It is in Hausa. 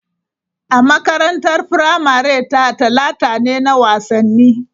A makarantar firamare ta, Talata ne na wasanni.